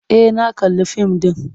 E, na kalli fim ɗin.